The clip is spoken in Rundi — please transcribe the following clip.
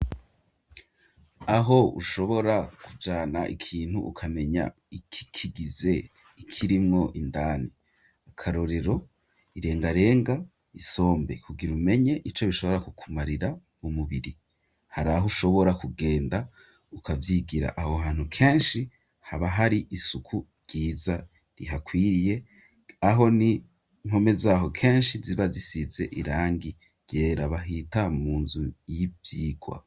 Aho ushobora kujana ikintu ukamenya ikikigize ikirimwo indani akarorero irengarenga isombe kugira umenye ico bishobora kukumarira mu mubiri hari aho ushobora kugenda ukavyigira aho hantu kenshi haba hari e isuku ryiza rihakwiriye aho ninkome zaho kenshi ziba zisize irangi ryera bahita mu nzu y'ivyirwa.